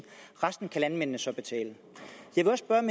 resten kan landmændene så betale jeg vil godt